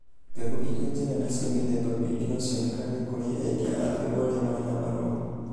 Mbegũ iria njega na cia mĩthemba mĩingĩ no cionekage kũrĩ endia a mbegũ arĩa marĩ na marũa.